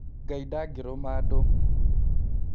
Ngai ndagĩrũma andũ